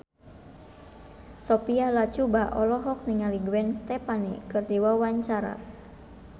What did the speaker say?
Sophia Latjuba olohok ningali Gwen Stefani keur diwawancara